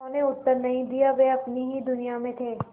उन्होंने उत्तर नहीं दिया वे अपनी ही दुनिया में थे